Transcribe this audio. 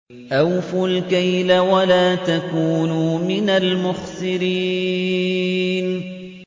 ۞ أَوْفُوا الْكَيْلَ وَلَا تَكُونُوا مِنَ الْمُخْسِرِينَ